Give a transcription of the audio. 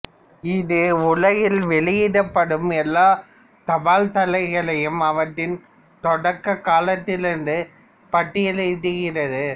இது உலகில் வெளியிடப்படும் எல்லாத் தபால்தலைகளையும் அவற்றின் தொடக்க காலத்திலிருந்து பட்டியல் இடுகிறது